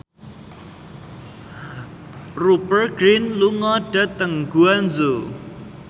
Rupert Grin lunga dhateng Guangzhou